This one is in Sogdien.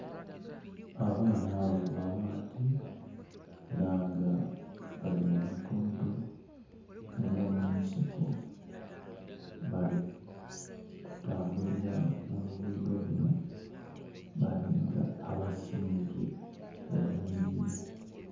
Abaana bava maadhi era nga bali mu lugudho olw'omunsiko bali kutambulira mu lugudho luno bali nga abasimbye olunhiriri.